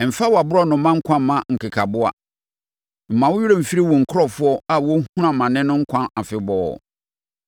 Mfa wʼaborɔnoma nkwa mma nkekaboa; mma wo werɛ mfiri wo nkurɔfoɔ a wɔrehunu amane no nkwa afebɔɔ.